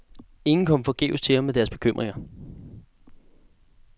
Ingen kom forgæves til ham med deres bekymringer.